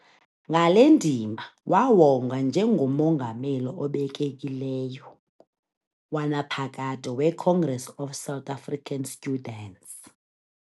Ngale ndima wawongwa njengoMongameli obekekileyo wanaphakade we-Congress Of South African Students.